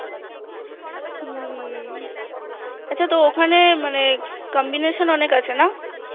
হম্ম আচ্ছা ওখানে মানে Combination অনেক আছে না?